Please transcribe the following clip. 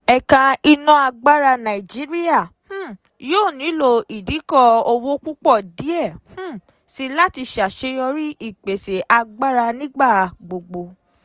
Ẹ̀ka iná agbára Nàìjíríà um yóó nílò ìdíkò-òwò púpọ̀ díẹ̀ um síi láti ṣàṣèyọrí ìpèsè agbára nígbà gbogbo.